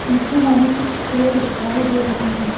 पीछे हमें कुछ पेड़ दिखाई दे रहे हैं।